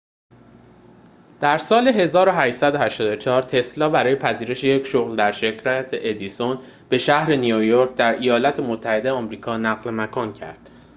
در سال ۱۸۸۴ تسلا برای پذیرش یک شغل در شرکت ادیسون به شهر نیویورک در ایالات متحده آمریکا نقل مکان کرد